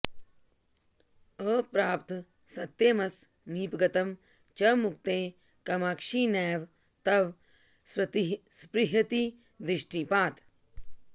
अप्राप्तसत्यमसमीपगतं च मुक्तेः कामाक्षि नैव तव स्पृहयति दृष्टिपातः